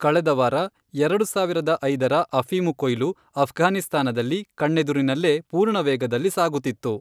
ಕಳೆದ ವಾರ, ಎರಡು ಸಾವಿರದ ಐದರ ಅಫೀಮು ಕೊಯ್ಲು, ಅಫ್ಘಾನಿಸ್ತಾನದಲ್ಲಿ, ಕಣ್ಣೆದುರಿನಲ್ಲೇ ಪೂರ್ಣವೇಗದಲ್ಲಿ ಸಾಗುತ್ತಿತ್ತು.